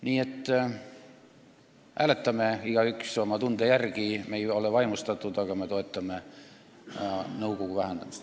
Nii et hääletame igaüks oma tunde järgi – me ei ole eelnõust vaimustatud, aga me toetame nõukogu koosseisu vähendamist.